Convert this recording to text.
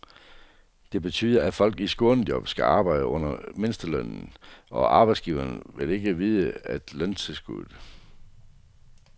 Det betyder, at folk i skånejob skal arbejde under mindstelønnen, og arbejdsgiverne vil ikke vide af løntilskud.